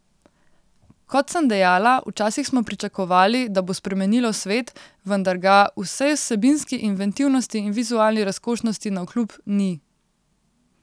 Kot sem dejala, včasih smo pričakovali, da bo spremenilo svet, vendar ga, vsej vsebinski inventivnosti in vizualni razkošnosti navkljub, ni.